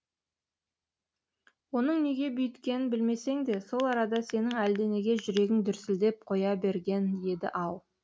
оның неге бүйткенін білмесең де сол арада сенің әлденеге жүрегің дүрсілдеп қоя берген еді ау